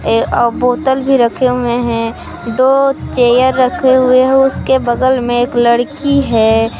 बोतल भी रखे हुए हैं दो चेयर रखे हुए हैं उसके बगल में लड़की है।